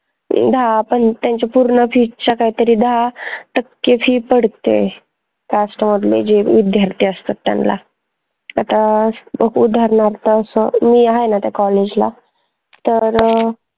दाहा त्यांच्या पूर्ण fees च्या काही तरी दाहा टक्के fee पडते cast मधले जे विद्यार्थी असतात त्यांना आता मी आहे न त्या college ला तर